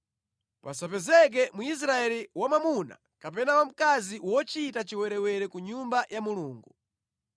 Pasapezeke Mwisraeli wamwamuna kapena wamkazi wochita chiwerewere ku Nyumba ya Mulungu.